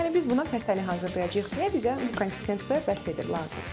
Yəni biz bundan fəsəli hazırlayacağıq deyə bizə bu konsistensiya bəs edir, lazımdır.